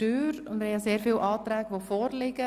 Es liegen ja sehr viele Anträge vor.